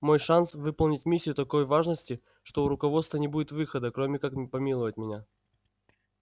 мой шанс выполнить миссию такой важности что у руководства не будет выхода кроме как помиловать меня